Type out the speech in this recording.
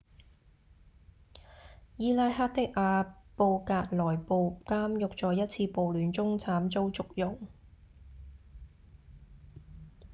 伊拉克的阿布格萊布監獄在一次暴亂中慘遭祝融